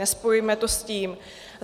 Nespojujme to s tím.